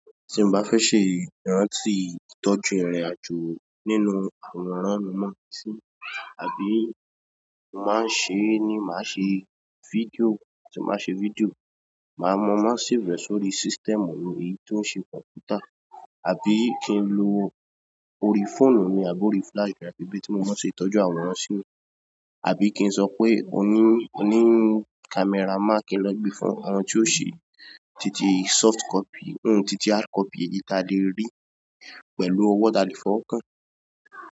Tí mo bá fẹ́ ṣe ìrántì ìtọ́jú ìrìnàjò nínú àwòrán, mo máa ṣí, àbí ì máa ń ṣe ni màá ṣe fídíò, tí màá ṣe fídíò, màá mọ má sì rẹ̀ sórí system olóye tó ń ṣe kọ̀mpútà, àbí kí n lo orí fóònù mi àbò orí flash drive ẹbí tí mo máa ṣe tọ́jú àwòrán síi, àbí kí n sọ pé ó ní, ó ní camera man kí n lọ gbé fún wọn tí ó ṣe títí soft copy, títí hard copy èyí tí a lè rí pẹ̀lú ọwọ́, tá lè fọwọ́ kàn.